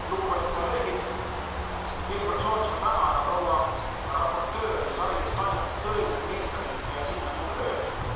Lugupeetud kolleegid, kõigepealt sooviksin ma tänada proua raportööri Sari Essayah'd tõeliselt meisterliku ja kindlameelse töö eest.